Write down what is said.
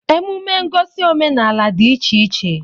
Ememme ngosi omenala dị iche iche.